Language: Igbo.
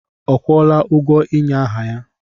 Ọ kwụọla ụgwọ ịnye aha ya?